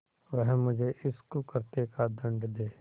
वह मुझे इस कुकृत्य का दंड दे